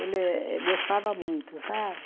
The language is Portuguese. Ele gostava muito, sabe?